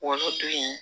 Olu dun ye